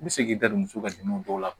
I bɛ se k'i da don muso ka denw dɔw la